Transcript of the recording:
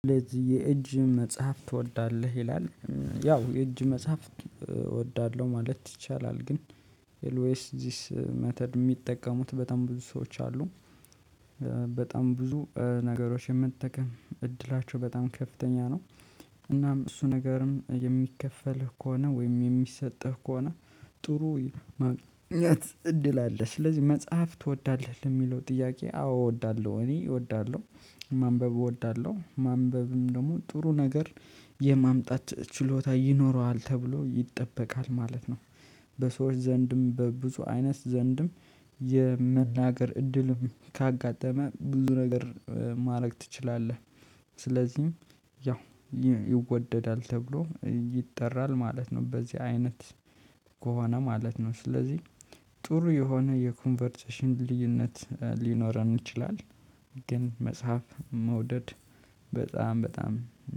ለዚህ የእጅ መጽሐፍ ትወዳለህ? ይላል ያው የእጅ መጽሐፍ እወዳለሁ ማለት ይቻላል ግን ኤልዌስ ዚስ መተድ የሚጠቀሙት በጣም ብዙ ሰዎች አሉ። በጣም ብዙ ነገሮች የመጠቀም እድላቸው በጣም ከፍተኛ ነው። እናም እሱ ነገርም የሚከፈልህ ከሆነ ወይም የሚሰጥህ ከሆነ ጥሩ ማግኘት እድል አለ። ስለዚህ መጽሐፍ ትወዳለህ ለሚለው ጥያቄ አዎ እወዳለሁ እኔ እወዳለሁ። ማንበብ እወዳለሁ ማንበብም ደግሞ ጥሩ ነገር የማምጣት ችሎታ ይኖረዋል ተብሎ ይጠበቃል ማለት ነው። በሰዎች ዘንድም በብዙ አይነት ዘንድም የመናገር እድልም ካጋጠመ ብዙ ነገር ማድረግ ትችላለህ። ስለዚህም ያው ይወደዳል ተብሎ ይጠራል ማለት ነው። በዚህ አይነት ከሆነ ማለት ነው። ስለዚህ ጥሩ የሆነ የኮንቨርሴሽን ልዩነት ሊኖረን ይችላል። ግን መጽሐፍ መውደድ በጣም በጣም